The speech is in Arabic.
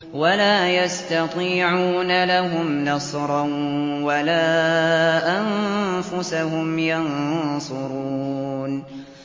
وَلَا يَسْتَطِيعُونَ لَهُمْ نَصْرًا وَلَا أَنفُسَهُمْ يَنصُرُونَ